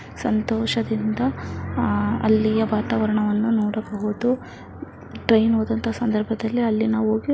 ಸಂತೋಷದಿಂದ ಅಲ್ಲಿಯ ವಾತವಾರಣವನ್ನ ನೋಡಬಹುದು ಟ್ರೈನ್ ಹೋದಂತ ಸಂದರ್ಭದಲ್ಲಿ ಅಲ್ಲಿ ನಾವು ಹೋಗಿ--